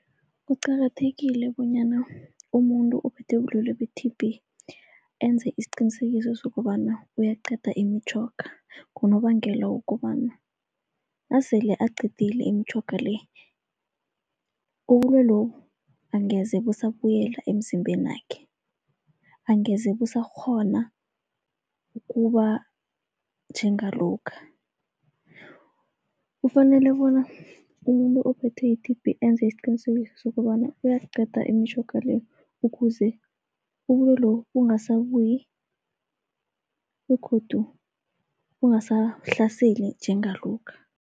Kuqakathekile bonyana umuntu ophethwe bulwelwe be-T_B enze isiqinisekiso sokobana uyaqeda imitjhoga, ngonobangela wokobana nasele aqedile imitjhoga le ubulwelobu angeze busabuyela emzimbenakhe, angeze busakghona ukuba njengalokha. Ufanele bona umuntu ophethwe yi-T_B enze isiqinisekiso sokobana uyasiqeda imitjhoga le, ukuze ubulwelobu bungasabuyi begodu bungasahlaseli njengalokha.